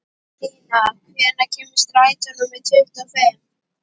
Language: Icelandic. Stína, hvenær kemur strætó númer tuttugu og fimm?